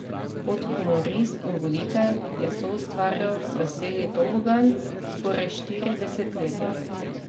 Kot humorist in voditelj je soustvarjal Veseli tobogan skoraj štiri desetletja.